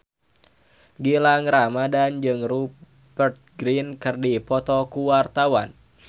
Gilang Ramadan jeung Rupert Grin keur dipoto ku wartawan